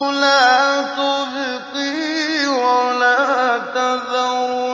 لَا تُبْقِي وَلَا تَذَرُ